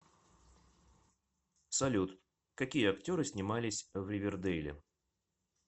салют какие актеры снимались в ривердейле